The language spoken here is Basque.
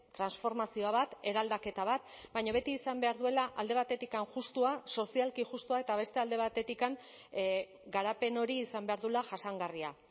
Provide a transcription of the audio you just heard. transformazio bat eraldaketa bat baina beti izan behar duela alde batetik justua sozialki justua eta beste alde batetik garapen hori izan behar duela jasangarria